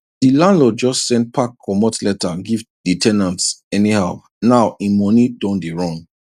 di landlord just send pack comot letter give di ten ant anyhow now im money don dey run